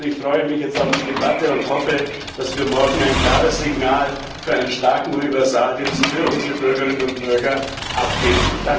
Ich freue mich jetzt auf die Debatte und hoffe, dass wir morgen ein klares Signal für einen starken Universaldienst für unsere Bürgerinnen und Bürger abgeben.